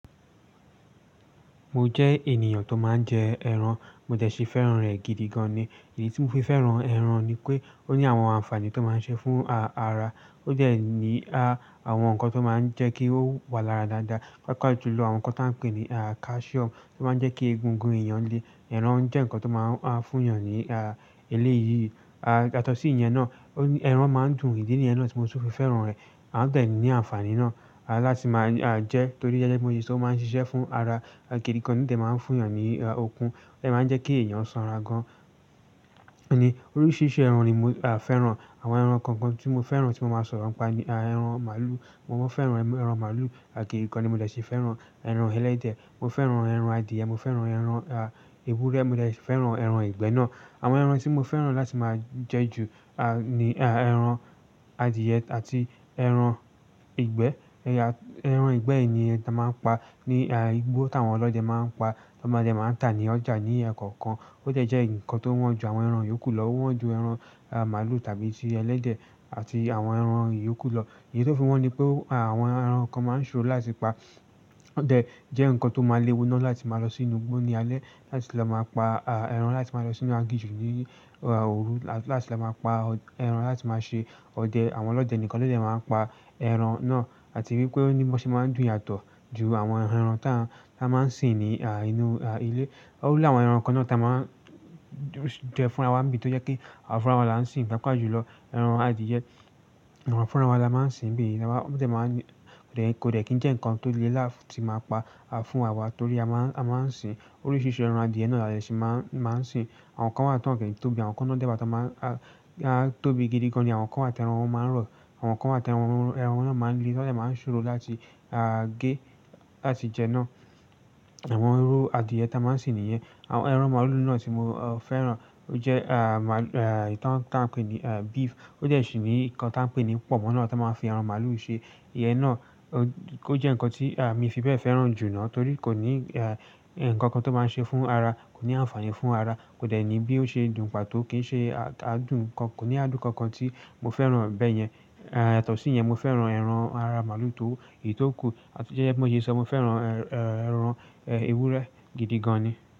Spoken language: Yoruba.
Mo jẹ́ ènìyàn tó máa ń jẹ ẹran, mo dẹ́ ṣi fẹ́ràn rẹ̀ gidi gan ni. Èyí tí mo fi fẹ́ràn ẹran ni pé ó ní àwọn ànfààní tó máa ń ṣe fún ara. Ó dẹ́ ní a àwọn nǹkan tó máa ń jẹ́ kí ó wà lára dáadáa, pàápàá jùlọ àwọn nǹkan tí a ń pè ní ah calcium tó máa ń jẹ́ kí egungun èèyàn le. Ẹran jẹ́ nǹkan tó máa ń a fún èèyàn ní a ilé yíyí. A yàtọ̀ sí ìyẹn náà, ó ní ẹran máa ń dùn. Ìdi niyẹ́n náà tí mo sì fẹ́ràn rẹ̀. A tẹ̀ lé e ní àǹfààní náà láti máa a jẹ torí gẹ́gẹ́ bi mó se ṣo ó máa ń ṣiṣẹ́ fún ara. A gidi gan ni tẹ̀ máa ń fún èèyàn ní okun, ó jẹ máa ń jẹ́ kí èèyàn sanra gan. Òní oríṣiríṣi ẹran ni mo a fẹ́ràn. Àwọn ẹran kọ̀ọ̀kan tí mo fẹ́ràn tí mo máa sọ̀rọ̀ ń pa ni ẹran màlúù. Mo máa fẹ́ràn ẹran màlúù, àkíyí kan ni mo dẹ́ ṣi fẹ́ràn ẹran ẹlẹ́dẹ̀. Mo fẹ́ràn ẹran adìẹ, mo fẹ́ràn ẹran a ewúrẹ́, mo dè si fẹ́ràn ẹran ìgbẹ́ náà. Àwọn ẹran tí mo fẹ́ràn láti máa jẹ ju a ni a ẹran adìẹ àti ẹran ìgbẹ́. Ẹya ẹran ìgbẹ́ yìí ni a máa ń pa ní a igbó tí àwọn ọlọ́dẹ máa ń pa, tí wọn máa jẹ máa ń tà ní ọjà ní lẹkọ̀ọ̀kan. Ó jẹ́ ń jẹ́ nǹkan tó wọ́n ju àwọn ẹran ìyókù lọ, wọ́n ju ẹran a màlúù tàbí ti ẹlẹ́dẹ̀ àti àwọn ẹran ìyókù lọ. Èyí tó fi wọ́n ni pé àwọn ẹran kan máa ń ṣòro láti pa. Òde jẹ́ nǹkan tó máa léwu náà láti máa lọ sínú igbó ní alẹ́ láti lọ máa pa a ẹran láti máa lọ sínú aginjù ní óòru láti lọ máa pa ẹran láti máa ṣe ọdẹ. Àwọn ọlọ́dẹ nìkan ló lè máa ń pa ẹran náà. Àti wípé ó ní bó ṣe máa ń dùn yàtọ̀ ju àwọn ẹran tí a máa ń sìn ní a inú a ilé. Òwú láwọn ẹran kan náà tí a máa jẹ fúnra wa mì tó jẹ́ kí àwọn fúnra wa là ń sìn, pàápàá jùlọ ẹran adìẹ. Ẹran fúnra wa là ń máa ń se sìn bí i, àwa ó tẹ̀ máa ń rẹ̀ kò lè kí ń jẹ́ nǹkan tó le láti máa pa a fún wa torí a máa ń a máa ń sìn oríṣiríṣi ẹran adìẹ náà là lè ṣì máa ń máa ń sìn. Àwọn kan wà tó kẹ́rù tóbi, àwọn kan náà dẹ́ bà tí wọ́n máa a tóbi gidi gan ni àwọn kan àti ẹran wọn máa ń rọ̀. Àwọn kan wàti ẹran wọn náà máa ń gé, lati jẹ̀ náa ń ṣòro láti a gé láti jẹ́ náà. Àwọn irú adìẹ ta máa ń sìn nìyẹn. Àwọn ẹran màlúù náà tí mo o fẹ́ràn ó jẹ́ a màlúù a ìtàn tí a ń pè ní a beef. Ó jẹ́ ṣì ní nǹkan tí a ń pè ní pọ̀ mọ́ náà tí wọ́n máa ń fi ẹran màlúù ṣe. Ìyẹn náà ó jẹ́ nǹkan tí a mi fi bẹ́ẹ̀ fẹ́ràn jù náà torí kò ní a nǹkan kan tó máa ń ṣe fún ara, kò ní àǹfààní fún ara, kò dẹ̀ ní bí ó ṣe dùn, pàtó kì í ṣe a adùn kan, kò ní adùn kankan tí mo fẹ́ràn bẹ́ẹ̀ yẹn. A yàtọ̀ sí ìyẹn, mo fẹ́ràn ẹran ara màlúù tó ì tó kù àti jẹ́jẹ́ móye iṣẹ́, mo fẹ́ràn ẹran ewúrẹ́ gidi gan ni.